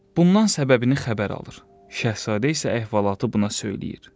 Bundan səbəbini xəbər alır, şahzadə isə əhvalatı buna söyləyir.